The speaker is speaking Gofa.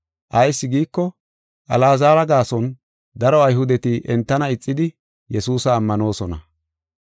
Ayis giiko, Alaazara gaason daro Ayhudeti entana ixidi Yesuusa ammanoosona.